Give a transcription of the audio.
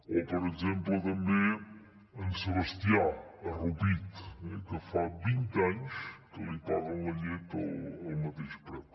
o per exemple també en sebastià a rupit que fa vint anys que li paguen la llet al mateix preu